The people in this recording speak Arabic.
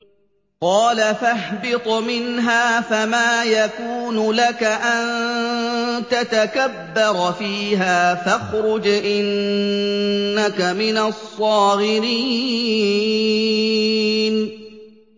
قَالَ فَاهْبِطْ مِنْهَا فَمَا يَكُونُ لَكَ أَن تَتَكَبَّرَ فِيهَا فَاخْرُجْ إِنَّكَ مِنَ الصَّاغِرِينَ